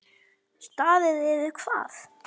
Staðið yfir hvað?